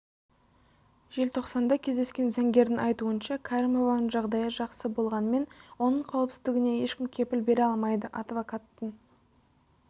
желтоқсанда кездескен заңгердің айтуынша кәрімованың жағдайы жақсы болғанымен оның қауіпсіздігене ешкім кепіл бере алмайды адвокаттың